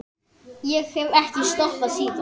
Ég hef ekki stoppað síðan.